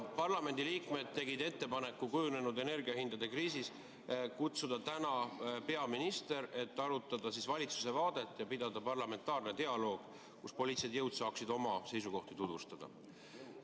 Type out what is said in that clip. Parlamendi liikmed tegid ettepaneku kujunenud energiahindade kriisis kutsuda täna siia peaminister, et arutada valitsuse vaadet ja pidada parlamentaarset dialoogi, kus poliitilised jõud saaksid oma seisukohti tutvustada.